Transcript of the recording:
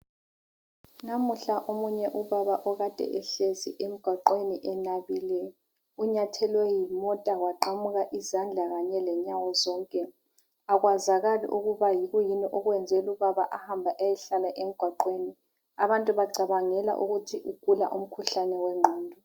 Namuhla omunye ubaba okade ehlezi emgwaqweni enabile, unyathelwe yimota waqamuka izandla kanye lenyawo zonke. Akwazakali ukuba yikuyini okwenze lubaba ahambe ayehlala emgwaqweni. Abantu bacabangela ukuthi ugula umkhuhlane wengqondo.